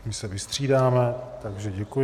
My se vystřídáme, takže děkuji.